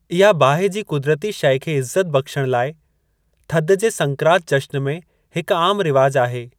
इहा बाहि जी कुदरती शइ खे इज्‍ज़त बख्‍शण लाए, थध जे संक्रांत जश्‍न में हिकु आम रिवाज आहे।